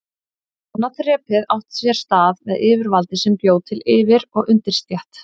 Annað þrepið átti sér stað með yfirvaldi sem bjó til yfir- og undirstétt.